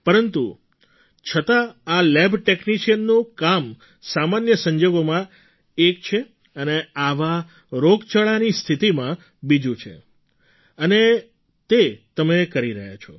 પરંતુ છતાં આ લેબ ટૅક્નિશિયનનું કામ સામાન્ય સંજોગોમાં એક છે અને આવી રોગચાળાની સ્થિતિમાં બીજું છે અને તે તમે કરી રહ્યા છો